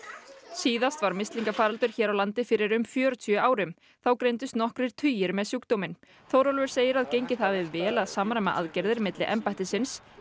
síðast var mislingafaraldur hér á landi fyrir um fjörutíu árum þá greindust nokkrir tugir með sjúkdóminn Þórólfur segir að gengið hafi vel að samræma aðgerðir milli embættisins